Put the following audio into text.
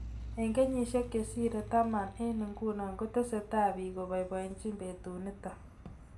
Eng kenyeshek chesirei taman eng nguno kotesetai bik ko baibajin betunitok.